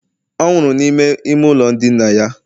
ọ nwụrụ n'ime ime ụlọ ndina ya